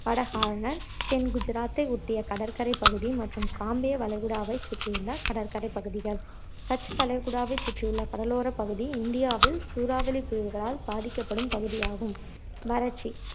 வட ஹார்னர் தென் குஜராத்தை ஒட்டிய கடற்கரைப் பகுதி மற்றும் காம்பே வளைகுடாவைச் சுற்றியுள்ள கடற்கரைப் பகுதிகள், கட்ச் வளைகுடாவை சுற்றியுள்ள கடலோர பகுதி இந்தியாவில் சூறாவளிப் புயல்களால் பாதிக்கப்படும் பகுதி ஆகும்